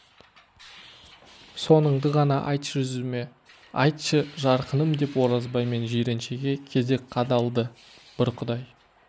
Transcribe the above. соныңды ғана айтшы жүзіме айтшы жарқыным деп оразбай мен жиреншеге кезек қадалды бір құдай